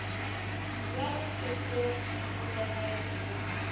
ya go se holege go